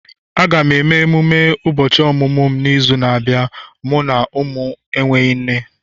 Aga m eme mmemme ụbọchị ọmụmụ m n'izu na-abịa, mụ na ụmụ enweghị nne